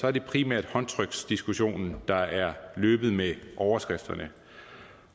er det primært håndtryksdiskussionen der er løbet med overskrifterne